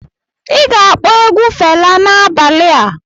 Ị ga-akpọ egwu Fela n'abalị a.